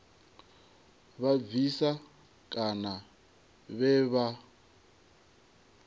vha bvisa kana vhe vha